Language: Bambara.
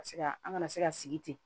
Ka se ka an kana se ka sigi ten